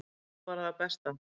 Maður vonar bara það besta.